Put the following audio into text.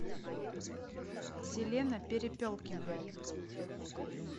селена перепелкина